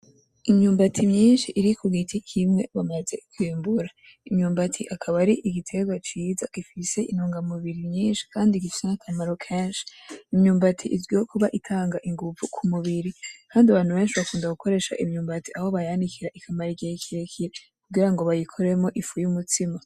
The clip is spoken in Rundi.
Imyumbati myinshi iri ku giti kimwe umaze kwimbura . Imyumbati akaba ari igiterwa ciza gifise intungamubiri nyinshi kandi gifise n’akamaro kenshi . Imyumbati izwi kuba itanga inguvu ku mubiri Kndi abantu benshi bakunda gukoresha imyumbati Aho bayanikira ikamara igihe kirekire kugira ngo bayikoremwo ifu y’umutsima.